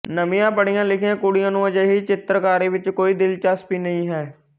ਨਵੀਆਂ ਪੜ੍ਹੀਆਂ ਲਿਖੀਆਂ ਕੁੜੀਆਂ ਨੂੰ ਅਜਿਹੀ ਚਿੱਤਰਕਾਰੀ ਵਿੱਚ ਕੋਈ ਦਿਲਚਸਪੀ ਨਹੀਂ ਹੈ